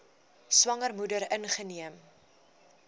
swanger moeder ingeneem